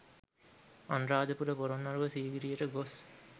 අනුරාධපුර පොලොන්නරුව සීගිරියට ගොස්